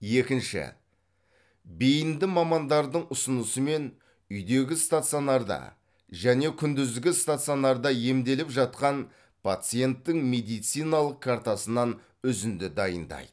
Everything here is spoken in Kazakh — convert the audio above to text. екінші бейінді мамандардың ұсынысымен үйдегі стационарда және күндізгі стационарда емделіп жатқан пациенттің медициналық картасынан үзінді дайындайды